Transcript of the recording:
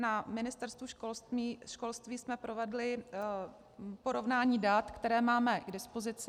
Na Ministerstvu školství jsme provedli porovnání dat, která máme k dispozici.